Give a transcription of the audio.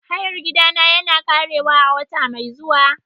Hayar gidana yana ƙarewa a wata mai zuwa.